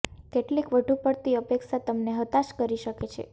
કેટલીક વધુ પડતી અપેક્ષા તમને હતાશ કરી શકે છે